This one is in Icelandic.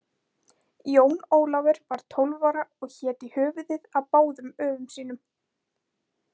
Jón Ólafur var 12 ára og hét í höfuðið á báðum öfum sínum.